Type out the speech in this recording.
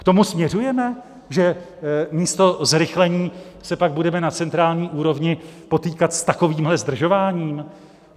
K tomu směřujeme, že místo zrychlení se pak budeme na centrální úrovni potýkat s takovýmhle zdržováním?